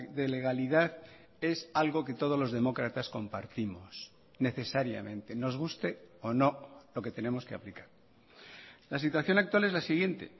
de legalidad es algo que todos los demócratas compartimos necesariamente nos guste o no lo que tenemos que aplicar la situación actual es la siguiente